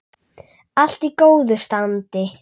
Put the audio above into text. Allt í góðu standi.